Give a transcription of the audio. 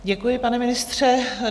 Děkuji, pane ministře.